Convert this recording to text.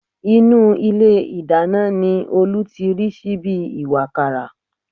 Inú ilé ìdáná ni Olú ti rí síbí ìwàkàrà